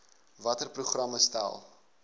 watter programme stel